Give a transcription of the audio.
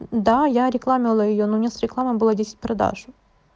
да я реклама её но мне с рекламы было десять продаж